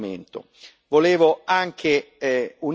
appaiono destituite di ogni fondamento.